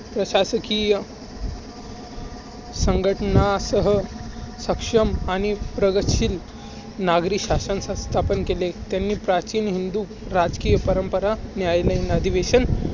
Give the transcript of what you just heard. प्रशासकीय संघटना सह सक्षम आणि प्रगतशील नागरी शासन सत्ता स्थापन केले. त्यांनी प्राचीन हिंदू राजकीय परंपरा न्यायालयीन अधिवेशन